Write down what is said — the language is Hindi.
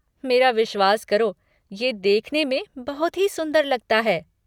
मेरा विश्वास करो, ये देखने में बहुत ही सुंदर लगता है।